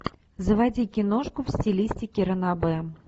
заводи киношку в стилистике ранобэ